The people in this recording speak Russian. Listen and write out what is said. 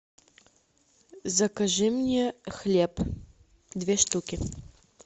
закажи мне хлеб две штуки